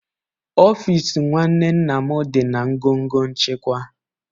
Ọfịs nwanne nna m dị na ngọngọ nchịkwa